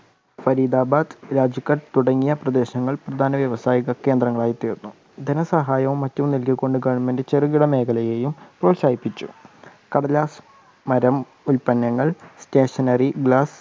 ഫരീദാബാദ്, രാജ്കട്ട് തുടങ്ങിയ പ്രദേശങ്ങൾ പ്രധാന വ്യവസായ കേന്ദ്രങ്ങളായി തീർന്നു. ധനസഹായം മറ്റു നെല്ലുകൊണ്ട് ഗവൺമെൻറ് ചെറുകിട മേഖലയെയും പ്രോത്സാഹിപ്പിച്ചു. കടലാസു മരം, ഉൽപ്പനങ്ങൾ, സ്റ്റേഷനറി, ഗ്ലാസ്,